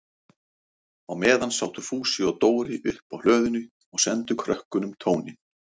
Á meðan sátu Fúsi og Dóri uppi á hlöðunni og sendu krökkunum tóninn.